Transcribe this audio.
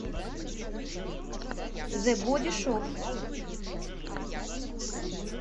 зэ боди шоп